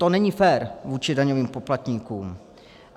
To není fér vůči daňovým poplatníkům.